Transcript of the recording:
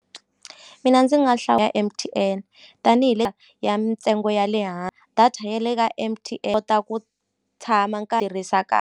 Mina ndzi nga ya M_T_N tanihi le ya ntsengo ya le data ya le ka M_T_N kota ku tshama tirhisa .